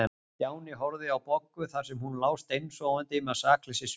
Stjáni horfði á Boggu þar sem hún lá steinsofandi með sakleysissvip.